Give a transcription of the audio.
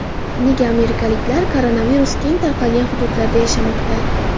Nega amerikaliklar koronavirus keng tarqalgan hududlarda yashamoqda?